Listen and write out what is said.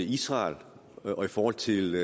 israel og i forhold til